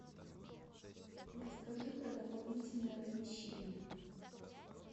расскажи про дополнительное размещение